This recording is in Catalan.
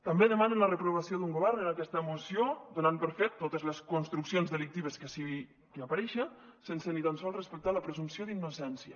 també demanen la reprovació d’un govern en aquesta moció donant per fet totes les construccions delictives que hi apareixen sense ni tan sols respectar la presumpció d’innocència